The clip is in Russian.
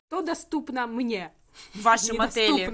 что доступно мне в вашем отеле